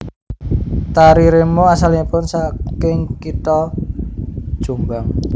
Tari remo asalipun saking kitha Jombang